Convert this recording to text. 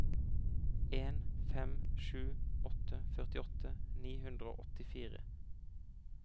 en fem sju åtte førtiåtte ni hundre og åttifire